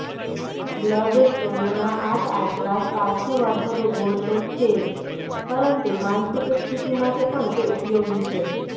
બ્લડસ્ટોનના આટઆટલા સ્વાસ્થ્યવર્ધક ગુણ તો છે જ પરંતુ માનસિક સ્થિતિ માટે પણ તે ઉપયોગી છે